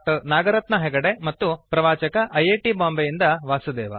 ನಾಗರತ್ನಾ ಹೆಗಡೆ ಮತ್ತು ಪ್ರವಾಚಕ I I T ಬಾಂಬೆಯಿಂದ ವಾಸುದೇವ